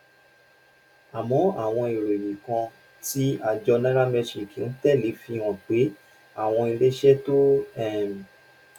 àmọ àwọn ìròyìn kan tí àjọ nairametrics ń tẹ lé fi hàn pé àwọn iléeṣẹ tó um